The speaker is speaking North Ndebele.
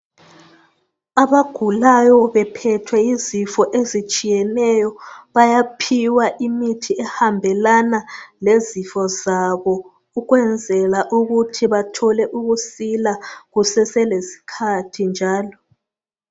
Abagulayo bephethwe yizifo ezitshiyeneyo bayaphiwa imithi ehambelana lezifo zabo ukwenzela ukuthi bathole ukusila kusese lesikhathi njalo